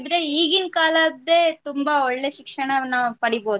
ಈಗಿನ್ ಕಾಲದ್ದೆ ತುಂಬಾ ಒಳ್ಳೆ ಶಿಕ್ಷಣವನ್ನು ನಾವು ಪಡಿಬಹುದು.